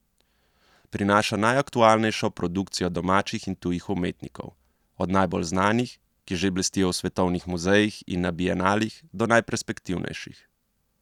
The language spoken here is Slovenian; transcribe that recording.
Prinaša najaktualnejšo produkcijo domačih in tujih umetnikov, od najbolj znanih, ki že blestijo v svetovnih muzejih in na bienalih, do najperspektivnejših.